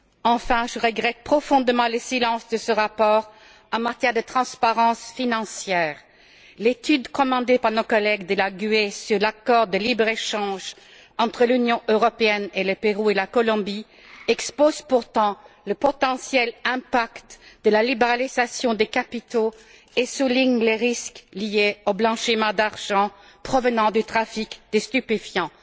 Enfin, je regrette profondément le silence de ce rapport en matière de transparence financière. L'étude commandée par nos collègues du groupe GUE NGL sur l'accord de libre échange entre l'Union européenne, le Pérou et la Colombie montre pourtant bien quel peut être l'impact de la libéralisation des capitaux et souligne les risques liés au blanchiment de l'argent provenant du trafic des stupéfiants.